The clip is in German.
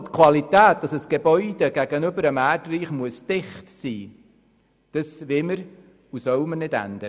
Die Qualität, das heisst dass ein Gebäude gegenüber dem Erdreich dicht sein muss – diese Qualität sollen und wollen wir nicht ändern.